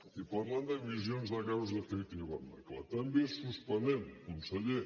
i parlant d’emissions de gasos d’efecte hivernacle també suspenem conseller